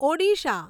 Odisha